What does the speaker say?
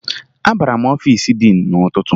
Abara m n'ọfiisi diin n'ụtụtụ